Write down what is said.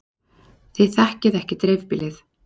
Þið þekkið ekki dreifbýlið.